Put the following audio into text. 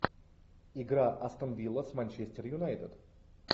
игра астон вилла с манчестер юнайтед